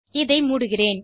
இதை மூடுகிறேன்